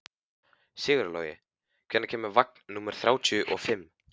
Sigurlogi, hvenær kemur vagn númer þrjátíu og fimm?